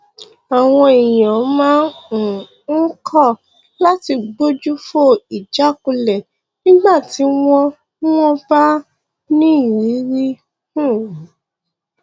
àwọn èèyàn máa um ń kọ láti gbójú fo ìjákulẹ nígbà tí wọn wọn bá ní ìrírí um